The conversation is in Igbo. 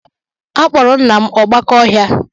A kpọrọ nna m "Ọgbaká ọhịa"